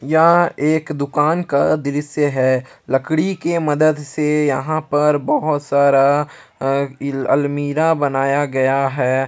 यह एक दुकान का दृश्य है लकड़ी के मदद से यहां पर बहुत सारा अलमीरा बनाया गया है।